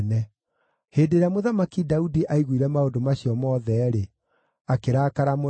Hĩndĩ ĩrĩa Mũthamaki Daudi aiguire maũndũ macio mothe-rĩ, akĩrakara mũno.